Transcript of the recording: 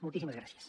moltíssimes gràcies